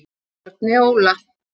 Árni Óla.